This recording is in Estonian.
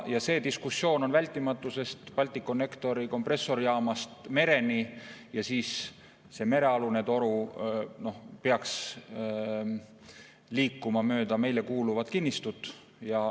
See diskussioon on vältimatu, sest toru Balticconnectori kompressorijaamast mereni ja see merealune toru peaks liikuma mööda meile kuuluvat kinnistut.